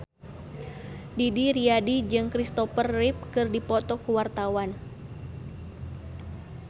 Didi Riyadi jeung Christopher Reeve keur dipoto ku wartawan